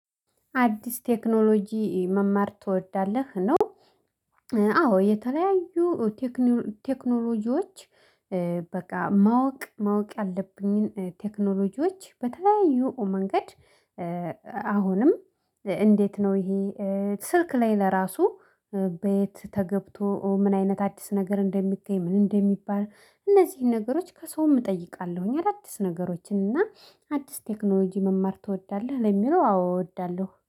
አድስ ቴክኖሎጂ መማር ትወዳለህ ነው? አዎ። የተለያዩ ቴክኖሎጂዎች በቃ ማወቅ ማወቅ ያለብኝን ቴክኖሎጂዎች በተለያዩ መንገድ አሁንም እንዴት ነው ይሄ ስልክ ላይ ለራሱ በየት ተገብቶ ምን አይነት አዲስ ነገር እንደሚገኝ ምን እንደሚባል እነዚህን ነገሮች ከሰውም እጠይቃለሁኝ አዳዲስ ነገሮችን እና አድስ ቴክኖሎጂ መማር ትወዳለህ። ለሚለው አዎ እወዳለሁ